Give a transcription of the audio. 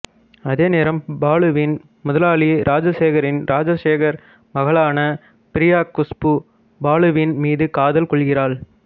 அதேநேரம் பாலுவின் முதலாளி ராஜசேகரின் ராஜசேகர் மகளான பிரியா குஷ்பு பாலுவின் மீது காதல் கொள்கிறாள்